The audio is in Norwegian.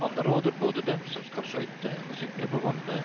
Han råder både dem som skal skøyte og sykle på vannene